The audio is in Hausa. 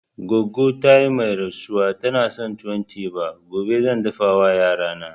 Goggo ta mai rasuwa tana son tuwon teba, gobe zan dafa wa yarana